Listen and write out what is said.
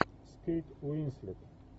с кейт уинслет